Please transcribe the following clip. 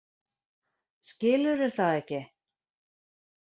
Skilurðu það ekki?